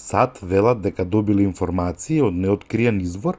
сад велат дека добиле информации од неоткриен извор